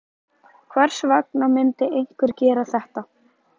Hvers vegna myndi einhver gera þetta?